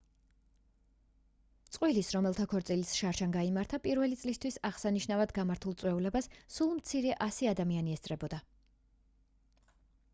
წყვილის რომელთა ქორწილიც შარშან გაიმართა პირველი წლისთავის აღსანიშნავად გამართულ წვეულებას სულ მცირე ასი ადამიანი ესწრებოდა